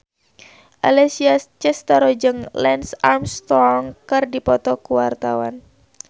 Alessia Cestaro jeung Lance Armstrong keur dipoto ku wartawan